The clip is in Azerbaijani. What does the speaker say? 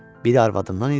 Biri arvadımdan idi.